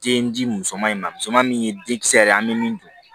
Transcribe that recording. Den di muso ma muso ma min ye denkisɛ yɛrɛ ye an bɛ min dun